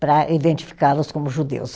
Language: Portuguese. Para identificá-los como judeus.